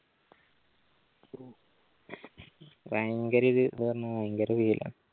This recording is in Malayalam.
ഭയങ്കര ഭയങ്കര വെയിലാണ്